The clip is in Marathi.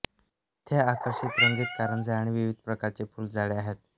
येथे आकर्षक रंगीत कारंजे आणि विविध प्रकारचे फुलझाडे आहेत